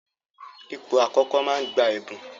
Ipò àkọ́kọ́ máa ń gba ẹ̀bùn.